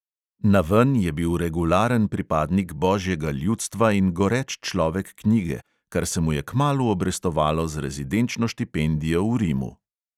Naven je bil regularen pripadnik božjega ljudstva in goreč človek knjige, kar se mu je kmalu obrestovalo z rezidenčno štipendijo v rimu.